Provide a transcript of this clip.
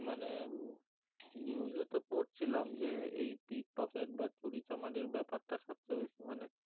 মানে উম news এ তো পড়ছিলাম যে এই pickpocket বা চুরিচামারির ব্যাপারটা সবচেয়ে বেশি মানে